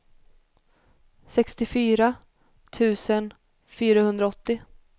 sextiofyra tusen fyrahundraåttio